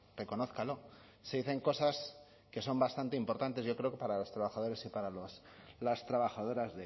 reconózcalo se dicen cosas que son bastante importantes yo creo para los trabajadores y para las trabajadoras